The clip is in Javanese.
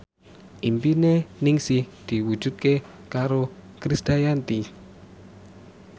impine Ningsih diwujudke karo Krisdayanti